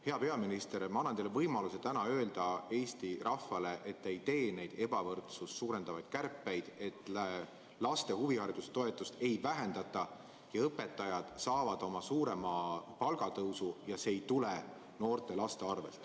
Hea peaminister, ma annan teile võimaluse öelda täna Eesti rahvale, et te ei tee neid ebavõrdsust suurendavaid kärpeid ja laste huvihariduse toetust ei vähendata ning et õpetajad saavad suurema palgatõusu ja see ei tule noorte-laste arvel.